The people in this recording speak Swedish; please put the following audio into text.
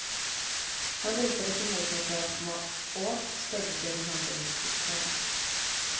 Hon lutade sig mot mig för att komma åt, stödde sig med handen mot mitt knä.